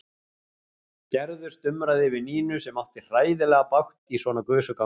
Gerður stumraði yfir Nínu sem átti hræðilega bágt í svona gusugangi.